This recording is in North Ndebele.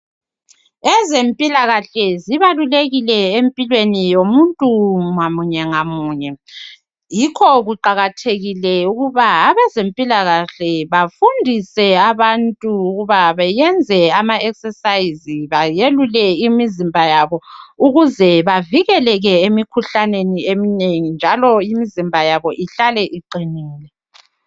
Ezempilakahle zibalulekile empilweni yomuntu ngamunye ngamunye. Yikho kuqakathekile ukuba abazempilakahle bafundise abantu ukuba bayenze ama exercise, bayelule imizimba yabo ukuze bavikeleke emikhuhlaneni eminengi njalo imizimba yabo ihlale iqinile .